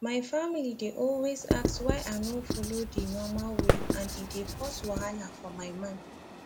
my family dey always ask why i no follow the normal way and e dey cause wahala for my mind